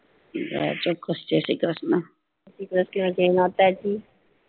હા ચોકસ જાય શ્રી ક્રષ્ણ